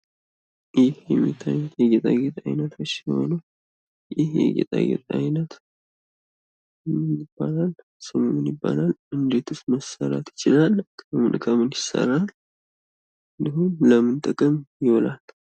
ይህ የሚታዩት የጌጣጌጥ አይነቶች ሲሆኑ ይህ የጌጣጌጥ ዓይነት ምን ይባላል? ስሙ ምን ይባላል? እንዴትስ ማሰራት ይቻላል? ከምን ከምን ይሰራል? እንዲሁም ለምን ጥቅም ይውላሉ?